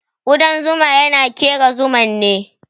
Kudan zuma yana kera Zuma ne.